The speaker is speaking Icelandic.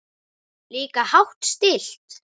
Líka hátt stillt.